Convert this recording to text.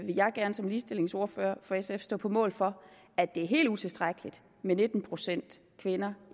jeg gerne som ligestillingsordfører for sf stå på mål for at det er helt utilstrækkeligt med nitten procent kvinder